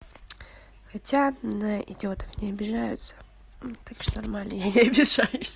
хотя на идиотов не обижаются ну так что нормально я не обижаюсь ха-ха